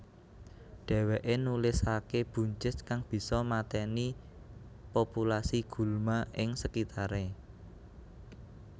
Dheweke nulisake buncis kang bisa mateni populasi gulma ing sekitare